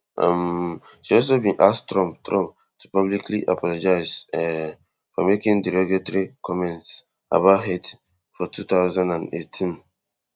um she also bin ask trump trump to publicly apologise um for making derogatory comments about hait fortwo thousand and eighteen